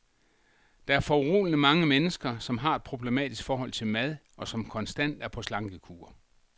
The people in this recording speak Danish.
Der er foruroligende mange mennesker, som har et problematisk forhold til mad, og som konstant er på slankekur.